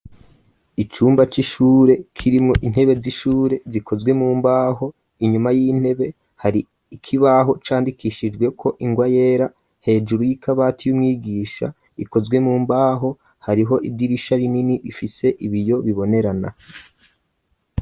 Icumba c'ishure kirimwo intebe z'ishure zikozwe mu mbaho, inyuma y'intebe hari ikibaho candikishijwe ko ingwa yera hejuru y'ikabati y'umwigisha ikozwe mu mbaho hariho idirisha rinini bifise ibiyo bibonerana.